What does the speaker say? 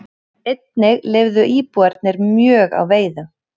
Einnig lifðu íbúarnir mjög á veiðum.